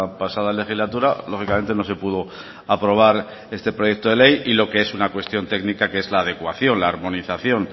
pasada legislatura lógicamente no se pudo aprobar este proyecto de ley y lo que es una cuestión técnica que es a la adecuación la armonización